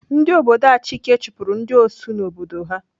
Ndị obodo Achike chụpụrụ ndị Osu n'obodo ha.